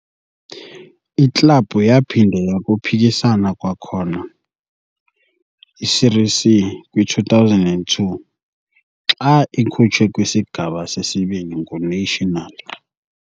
Iklabhu yaphinda yakhuphisana kwakhona i-Série C kwi-2002, xa ikhutshwe kwiSigaba seSibini nguNacional.